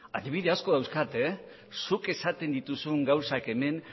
adibide asko dauzkat zuk esaten dituzun gauzak hemen